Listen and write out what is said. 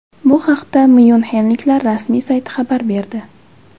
Bu haqda myunxenliklar rasmiy sayti xabar berdi.